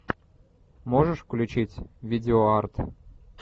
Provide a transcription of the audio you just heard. можешь включить видеоарт